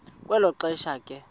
kwelo xesha ke